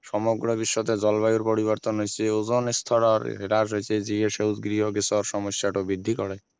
সমগ্ৰ বিশ্বতে জলবায়ুৰ পৰিবৰ্তন হৈছে অজন স্তৰৰ হ্ৰাস হৈছে যি সেউজগৃহ গেছৰ সমস্যাটো বৃদ্ধি কৰে